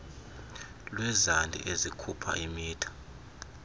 lwezandi ezikhupha imitha